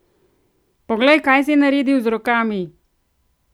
Poglej, kaj si naredil z rokami!